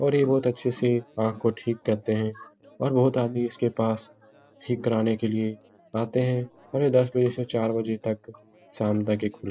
और ये बोहोत अच्छे से आँख को ठीक करते है और बोहोत आदमी इसके पास ठीक कराने के लिए आते है और ये दस बजे से चार बजे तक शाम तक ये खुला --